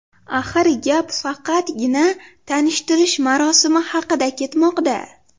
Axir gap faqatgina tanishtirish marosimi haqida ketmoqda.